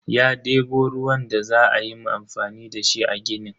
Ya debo ruwan da za ayi amfani dashi a ginin.